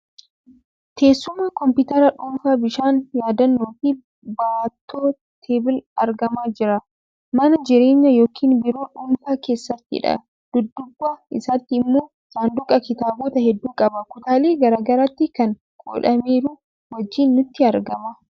Teessuma, kompiitara dhuunfaa, bishaan, yaadannoo fi baattoo(Table) argamaa jiran mana jireenyaa yookiin biiroo dhuunfaa keessattidha. Dudduuba isaatti immoo sanduuqa kitaabota hedduu qabu, kutaalee garaa garaatti kan qoodameeru wajjin nutti argama.